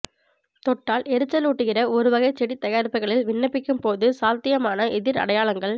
தொட்டால் எரிச்சலூட்டுகிற ஒருவகை செடி தயாரிப்புகளில் விண்ணப்பிக்கும் போது சாத்தியமான எதிர்அடையாளங்கள்